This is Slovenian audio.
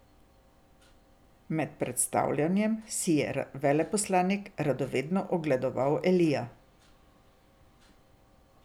Med predstavljanjem si je veleposlanik radovedno ogledoval Elija.